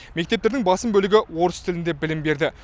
мектептердің басым бөлігі орыс тілінде білім берді